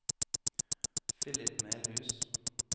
Filip Melhus